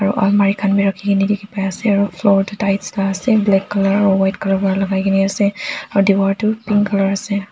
almari khan bi rakhikene dikhipai ase aro floor toh tiles la ase black Colour aro white colour pa lakai kena ase aro diwar tu pink colour ase.